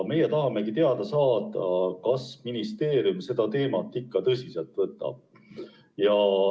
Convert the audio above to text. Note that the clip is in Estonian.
Me tahame teada saada, kas ministeerium seda teemat ikka tõsiselt võtab.